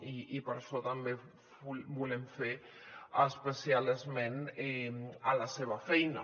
i per això també volem fer especial esment a la seva feina